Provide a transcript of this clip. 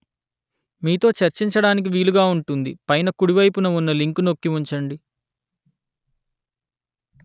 మీతో చర్చించడానికి వీలుగా ఉంటుంది పైన కుడివైపున ఉన్న లింకు నొక్కి ఉంచండి